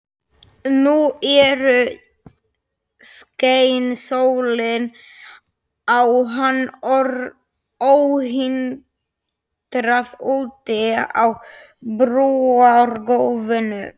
Og nú skein sólin á hann óhindrað úti á brúargólfinu.